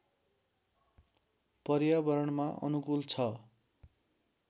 पर्यावरणमा अनुकूल छ